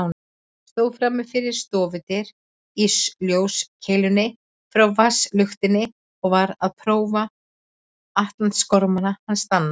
Stóð frammi við stofudyr í ljóskeilunni frá vasaluktinni og var að prófa atlasgormana hans Danna.